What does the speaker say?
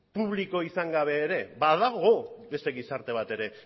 publiko izan gabe ere badago beste gizarte bat ere